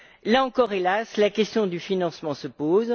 Là encore, hélas, la question du financement se pose.